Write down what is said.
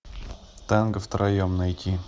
танго втроем найти